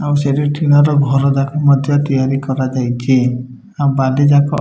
ଆଉ ସେଟି ଟିଣ ର ଘର ଯାକ ମଧ୍ୟ ତିଆରି କରାଯାଇଛି ଆଉ ବାଲି ଯାକ --